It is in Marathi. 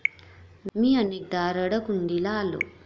मी अनेकदा रडकुंडीला आलो.